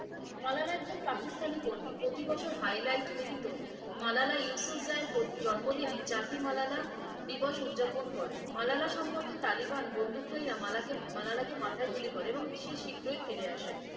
মালালা একজন পাকিস্তানি কর্মী। প্রতিবছর highlight মিলিত মালালা ইউসুফজাইর জন্মদিনে জাতি মালালা দিবস উদযাপন করে। মালালা সম্পর্কে তালিবান বন্ধুক ধাইয়া মালাকে মালালাকে মাথায় গুলি করে। এবং সে শীঘ্রই ফিরে আসে।